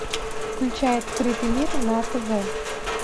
включай открытый мир на тв